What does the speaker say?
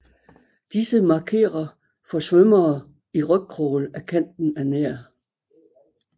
Disse markerer for svømmere i rygcrawl at kanten er nær